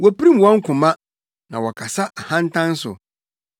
Wopirim wɔn koma, na wɔkasa ahantan so.